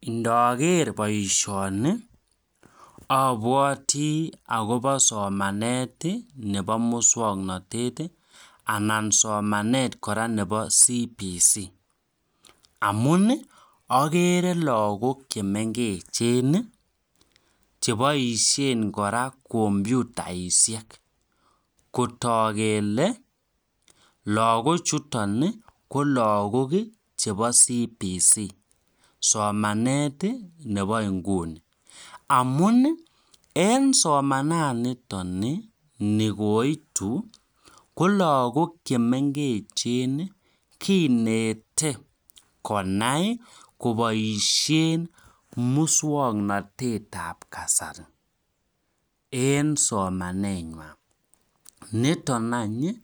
Indoker baishoni abwati akobo somanet Nebo muswaknatet anan somanet kora Nebo cbc amunagere lagok chemengechen cheabaishen kora computaishek kotag kele lagok chuton ko lagok chebo CBC somanet Nebo inguni amun en somananiton nikoitu ko lagok chemengechen kinete konai kobaishen muswaknatet ab kasari en somanywan niton any